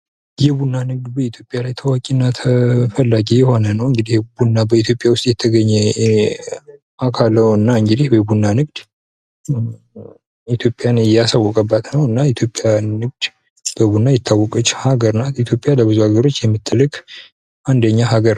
የቡና ንግድ በኢትዮጵያ ላይ ታዋቂና ተፈላጊ የሆነ ነው እንግዲህ ቡና በኢትዮጵያ ውስጥ የተገኘ አካል ነውና እንግዲህ የቡና ንግድ ኢትዮጵያን ያስወቀባት ነውና የኢትዮጵያ ንግድ የቡና ንግድ በቡና የታወቀች ሀገር ናት ኢትዮጵያ በብዙ የሀገራቶች የምትልክ አንደኛ ሀገር ናት ::